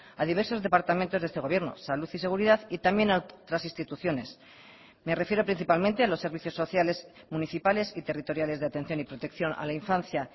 a diversos departamentos de este gobierno salud y seguridad y también a otras instituciones me refiero principalmente a los servicios sociales municipales y territoriales de atención y protección a la infancia